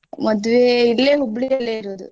ಮದ್ವೆ ಇಲ್ಲೇ Hubli ಯಲ್ಲೇ ಇರೋದು.